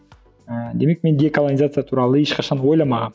ііі демек мен деколонизация туралы ешқашан ойламағамын